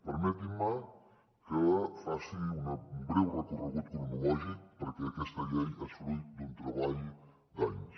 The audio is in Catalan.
permetin me que faci un breu recorregut cronològic perquè aquesta llei és fruït d’un treball d’anys